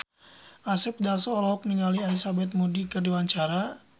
Asep Darso olohok ningali Elizabeth Moody keur diwawancara